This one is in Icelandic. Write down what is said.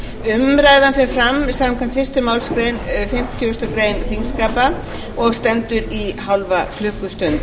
umræðan fer fram samkvæmt fyrstu málsgrein fimmtugustu grein þingskapa og stendur í hálfa klukkustund